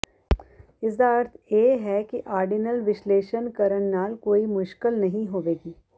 ਇਸਦਾ ਅਰਥ ਇਹ ਹੈ ਕਿ ਆਰਡੀਨਲ ਵਿਸ਼ਲੇਸ਼ਣ ਕਰਨ ਨਾਲ ਕੋਈ ਮੁਸ਼ਕਲ ਨਹੀਂ ਹੋਵੇਗੀ